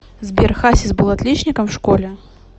сбер хасис был отличником в школе